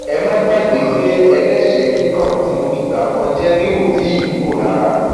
ẹ má gbàgbé pé ẹlẹṣẹẹ kíkan tí mo fìgbà kan jẹ rí ò tì í kúrò lára